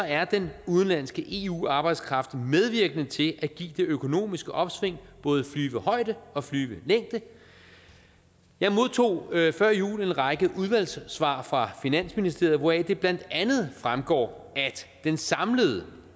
er den udenlandske eu arbejdskraft medvirkende til at give det økonomiske opsving både flyvehøjde og flyvelængde jeg modtog før jul en række udvalgssvar fra finansministeriet hvoraf det blandt andet fremgår at den samlede